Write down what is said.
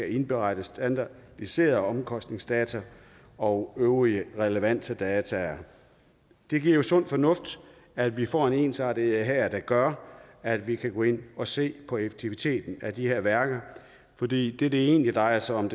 at indberette standardiserede omkostningsdata og øvrige relevante data det er jo sund fornuft at vi får en ensartethed her der gør at vi kan gå ind at se på effektiviteten af de her værker fordi det det egentlig drejer sig om